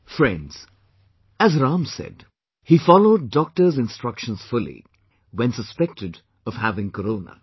Friends, as Ram said, he followed Doctor's instructions fully when suspected of having Corona